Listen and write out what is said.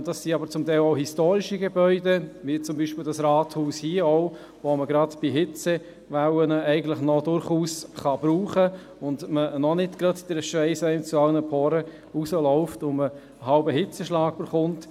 Das sind zum Teil auch historische Gebäude, wie zum Beispiel auch das Rathaus hier, das man gerade bei Hitzewellen durchaus noch brauchen kann und einen noch nicht gleich der Schweiss aus allen Poren läuft und man fast einen Hitzschlag bekommt.